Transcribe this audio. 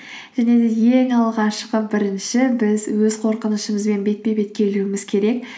және де ең алғашқы бірінші біз өз қорқынышымызбен бетпе бет келуіміз керек